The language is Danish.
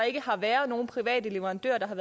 ikke har været nogen private leverandører der har